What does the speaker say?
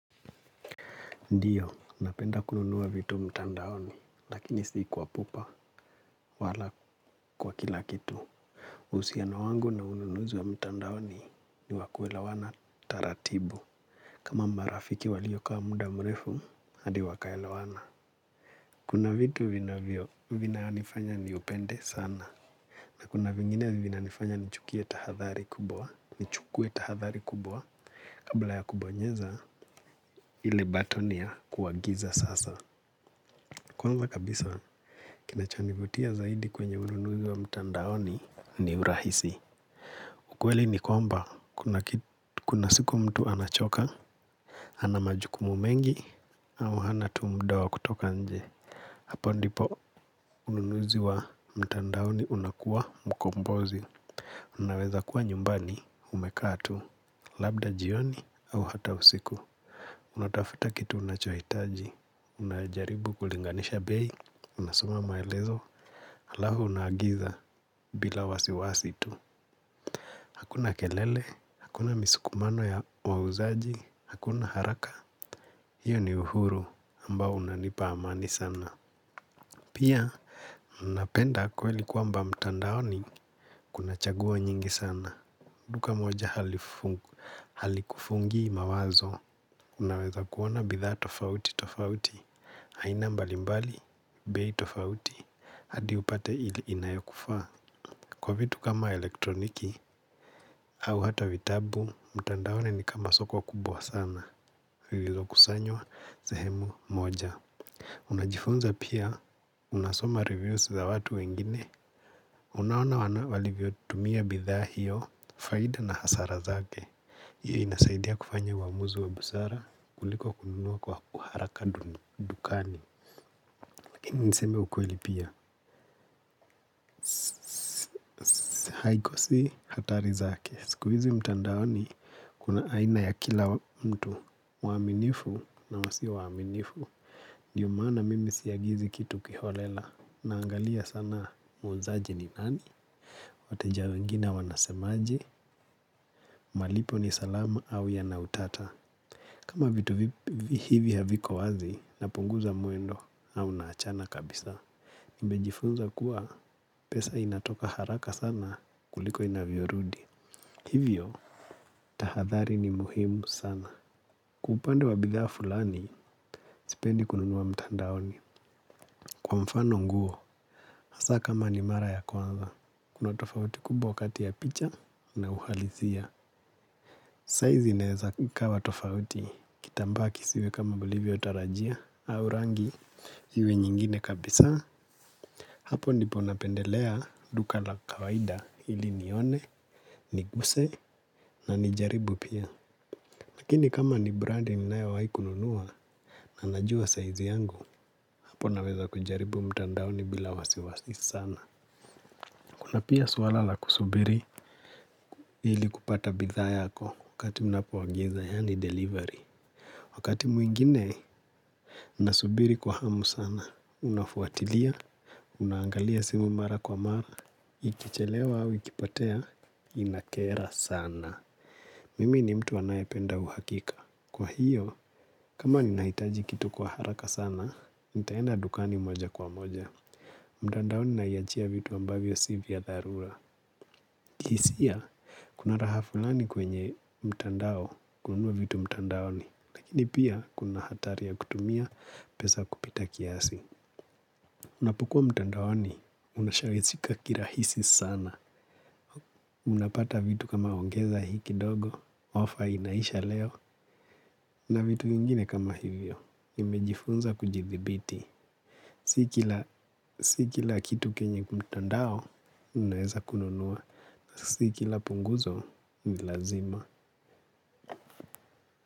Ndio, napenda kununua vitu mtandaoni, lakini si kwa pupa, wala kwa kila kitu. Uhusiano wangu na ununuzi wa mtandaoni ni wa kuelawana taratibu. Kama marafiki waliokaa muda mrefu, hadi wakaelawana. Kuna vitu vinavyo, vinanifanya niupende sana. Na kuna vingine vinanifanya nichukie tahathari kubwa, nichukue tahathari kubwa, kabla ya kubonyeza ile batoni ya kuagiza sasa. Kwanza kabisa kinachanivutia zaidi kwenye ununuzi wa mtandaoni ni urahisi. Ukweli ni kwamba kuna siku mtu anachoka. Ana majukumu mengi au hana tu muda wa kutoka nje. Hapo ndipo ununuzi wa mtandaoni unakuwa mkombozi. Unaweza kuwa nyumbani umekaa tu labda jioni au hata usiku. Unatafuta kitu unachohitaji. Unajaribu kulinganisha bei. Unasoma maelezo alafu unaagiza bila wasiwasi tu. Hakuna kelele, hakuna misukumano ya wauzaji, hakuna haraka. Hiyo ni uhuru ambao unanipa amani sana. Pia, napenda kweli kwamba mtandaoni kuna chaguo nyingi sana duka moja hali kufungi mawazo. Unaweza kuona bidhaa tofauti tofauti aina mbali mbali, bei tofauti adi upate ili inayokufa. Kwa vitu kama elektroniki au hata vitabu. Mtandaoni ni kama soko kubwa sana zilizo kusanywa sehemu moja. Unajifunza pia. Unasoma reviews za watu wengine. Unaona wana walivyotumia bidhaa hiyo. Faida na hasara zake. Iyo inasaidia kufanya uamuzi wa busara. Kuliko kununua kwa uharaka dukani. Hii ni niseme ukweli pia. Haikosi hatari zake. Siku hizi mtandaoni kuna aina ya kila mtu. Waaminifu na wasi waaminifu. Ndio maana mimi siagizi kitu kiholela. Naangalia sana muuzaji ni nani. Wateja wengine wanasemaje. Malipo ni salama au yanautata. Kama vitu hivi haviko wazi napunguza mwendo au naachana kabisa. Nmejifunza kuwa pesa inatoka haraka sana kuliko inavyorudi. Hivyo tahathari ni muhimu sana. Kwa upande wa bidhaa fulani, sipendi kununua mtandaoni. Kwa mfano nguo, hasa kama ni mara ya kwanza. Kuna tofauti kubwa kati ya picha na uhalisia. Saizi inaeza ikawa tofauti. Kitabaa kisiwe kama ulivyo tarajia, au rangi, iwe nyingine kabisa. Hapo ndipo napendelea duka la kawaida ili nione, niguse na nijaribu pia. Lakini kama ni bradi ninayo wahi kununua na najua saizi yangu, hapo naweza kujaribu mtandaoni bila wasiwasi sana. Kuna pia swala la kusubiri hili kupata bidhaa yako wakati unapoagiza yani delivery. Wakati mwingine, nasubiri kwa hamu sana. Unafuatilia, unaangalia simu mara kwa mara, ikichelewa au ikipotea, inakera sana. Mimi ni mtu anaye penda uhakika. Kwa hiyo, kama ninahitaji kitu kwa haraka sana, nitaenda dukani moja kwa moja. Mtandaoni naiachia vitu ambavyo si vya dharura. Kihisia, kuna raha fulani kwenye mtandao kununua vitu mtandaoni, lakini pia kuna hatari ya kutumia pesa kupita kiasi. Unapokua mtandaoni, unashawishika kirahisi sana, unapata vitu kama ongeza hi kidogo, ofa inaisha leo, na vitu vingine kama hivyo, nimejifunza kujithibiti. Si kila kitu kenye mtandao, unaeza kununua, si kila punguzo, ni lazima.